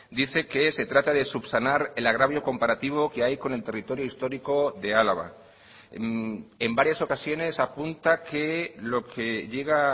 dice que se trata de subsanar el agravio comparativo que hay con el territorio histórico de álava en varias ocasiones apunta que lo que llega